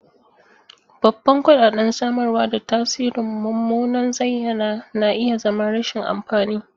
Babban kuɗaɗen samarwa da tasirin mummunan zayyana na iya zama rashin amfani.